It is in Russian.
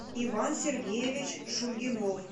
иван сергеевич шульгинов